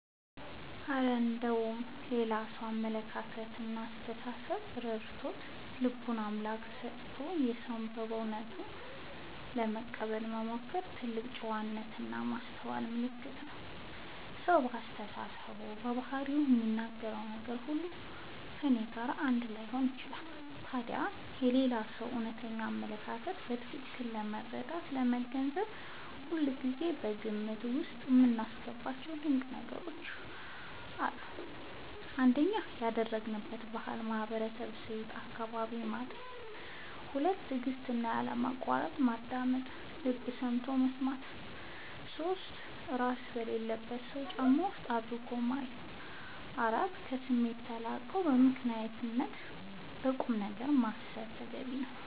እረ እንደው የሌላ ሰውን አመለካከትና አስተሳሰብ ተረድቶ፣ ልብን ለአምላክ ሰጥቶ ሰውን በሰውነቱ ለመቀበል መሞከርማ የትልቅ ጨዋነትና የማስተዋል ምልክት ነው! ሰው በአስተሳሰቡ፣ በባህሪውና በሚናገረው ነገር ሁሉ ከእኔ ጋር አንድ ላይሆን ይችላል። ታዲያ የሌላውን ሰው እውነተኛ አመለካከት በትክክል ለመረዳትና ለመገንዘብ ሁልጊዜ ከግምት ውስጥ የማስገባቸው ድንቅ ነገሮች አሉ፤ እንካችሁ ልንገራችሁ - 1. ያደገበትን ባህልና ማህበራዊ እሴት (አካባቢውን) ማጤን 2. በትዕግስትና ባለማቋረጥ ማዳመጥ (ልብ ሰጥቶ መስማት) 3. እራስን በሌላው ሰው ጫማ ውስጥ አድርጎ ማየት 4. ከስሜት ተላቆ በምክንያትና በቁምነገር ማሰብ